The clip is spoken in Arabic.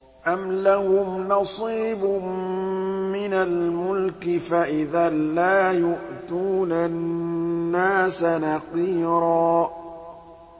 أَمْ لَهُمْ نَصِيبٌ مِّنَ الْمُلْكِ فَإِذًا لَّا يُؤْتُونَ النَّاسَ نَقِيرًا